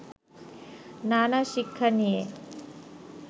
নানা শিক্ষা নিয়ে